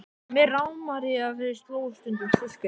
Og mig rámar í að þau slógust stundum systkinin.